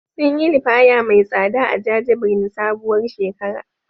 Sun yi liyafa mai tsada a jajibirin sabuwar shekara.